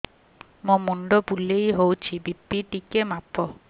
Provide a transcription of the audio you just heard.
ମୋ ମୁଣ୍ଡ ବୁଲେଇ ହଉଚି ବି.ପି ଟିକେ ମାପ